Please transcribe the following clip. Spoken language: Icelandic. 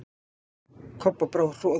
Kobba brá hroðalega.